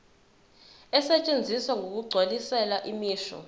asetshenziswa ngokugculisayo imisho